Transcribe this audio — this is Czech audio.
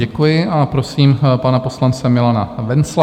Děkuji a prosím pana poslance Milana Wenzla.